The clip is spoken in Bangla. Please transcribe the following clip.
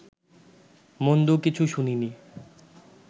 মন্দ কিছু শুনিনি